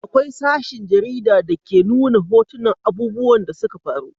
Akwai sashen jarida da ke nuna hotunan abubuwan da suka faru